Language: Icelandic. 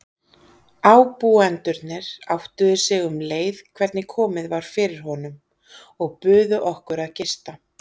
Ábúendurnir áttuðu sig um leið hvernig komið var fyrir honum og buðu okkur að gista.